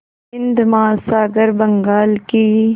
हिंद महासागर बंगाल की